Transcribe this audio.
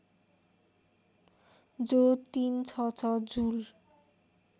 जो ३६६ जुल